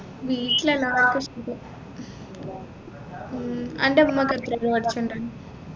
വീട്ടിലെല്ലാവർക്കും സുഖം ഉം അൻറെ ഉമ്മ എത്ര വരെ പഠിച്ചുണ്ട്